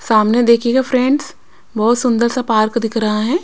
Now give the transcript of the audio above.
सामने देखिएगा फ्रेंड्स बोहोत सुंदर सा पार्क दिख रहा है।